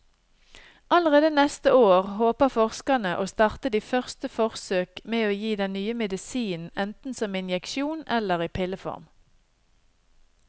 Allerede neste år håper forskerne å starte de første forsøk med å gi den nye medisinen enten som injeksjon eller i pilleform.